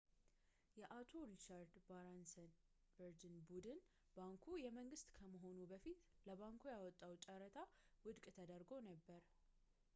የአቶ ሪቻርድ ባራንሰን ቨርጅን ቡድን ባንኩ የመንግስት ከመሆኑ በፊት ለባንኩ ያወጣው ጨረታ ውድቅ ተደርጎ ነበረ